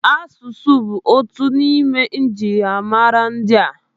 Asụsụ bụ otu n'ime njirimara ndị.